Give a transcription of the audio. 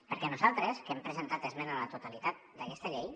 perquè nosaltres que hem presentat esmena a la totalitat d’aquesta llei